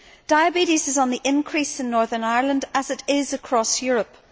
Diabetes is on the increase in Northern Ireland, as it is across Europe.